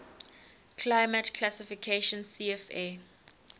climate classification cfa